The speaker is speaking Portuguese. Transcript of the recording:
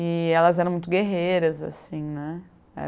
E elas eram muito guerreiras, assim, né?